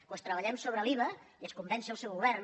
doncs treballem sobre l’iva i es convenci el seu govern